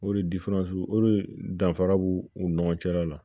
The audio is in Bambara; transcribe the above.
O de o de danfara b'u ni ɲɔgɔn cɛla la